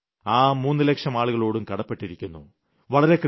ഞാൻ ആ 3 ലക്ഷം ആളുകളോടും കടപ്പെട്ടിരിക്കുന്നു